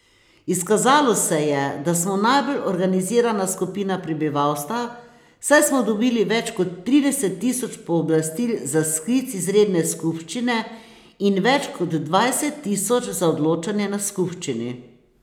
Izkazalo se je, da smo najbolj organizirana skupina prebivalstva, saj smo dobili več kot trideset tisoč pooblastil za sklic izredne skupščine in več kot dvajset tisoč za odločanje na skupščini.